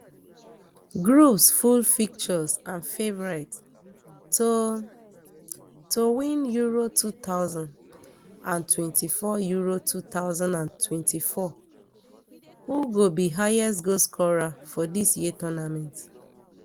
groups full fixtures and favourites to to win euro two thousand and twenty-four euro two thousand and twenty-four who go be highest goal scorer for dis year tournament